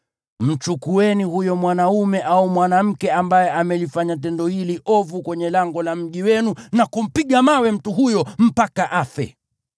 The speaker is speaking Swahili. mchukueni huyo mwanaume au mwanamke ambaye amelifanya tendo hili ovu kwenye lango la mji wenu na kumpiga mawe mtu huyo mpaka afe.